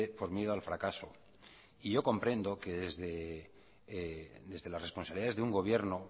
por miedo al fracaso y yo comprendo que desde la responsabilidad de un gobierno